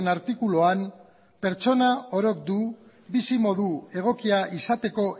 artikuluan pertsona orok du bizimodu egokia izateko